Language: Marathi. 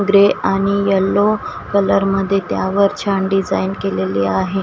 ग्रे आणि येलो कलर मध्ये त्यावर छान डिजाइन केलेली आहे.